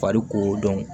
Fari ko